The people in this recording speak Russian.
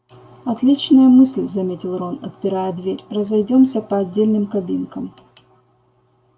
отличная мысль заметил рон отпирая дверь разойдёмся по отдельным кабинкам